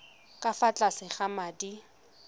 ka fa tlase ga madi